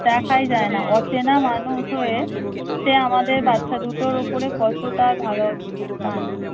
দেখাই যায় অচেনা মানুষ হয়ে সে আমাদের বাচ্চা দুটোর ওপরে কতটা ভালো টান।